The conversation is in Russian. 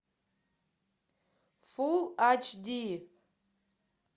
фул ач ди